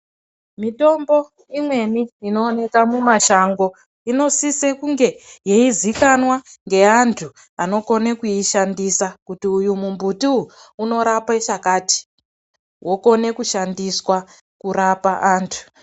Mitombo imweni inooneke mumashango inosise kunge yeizikanwa ngeantu anokone kuishandisa kuti uyu mumbuti uyu unorape chakati wokone kushandiswa kurapa antu.